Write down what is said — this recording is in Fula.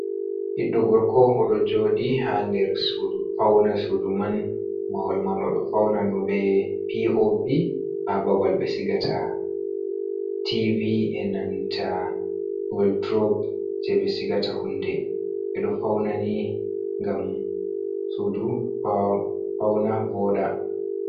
"Biɗɗo gorko" odo jodi ha der sudu fauna sudu man mahul man odo fauna duɓe pop a babal be sigata tv enanta waldorob je be sigata hunɗe edo faunani ngam sudu fauna voda.